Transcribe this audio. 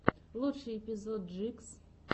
лучший эпизод джикс